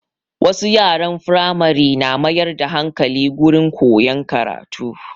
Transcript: Wasu yaran Firamare na mayar da hankali gurin koyan karatu